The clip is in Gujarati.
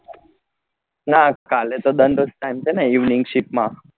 ના કાલે તો છે ને evening ship માં